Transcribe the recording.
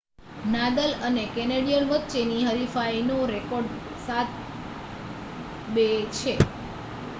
Nadal અને Canadian વચ્ચે ની હરીફાઈ નો રેકોર્ડ 7-2 છે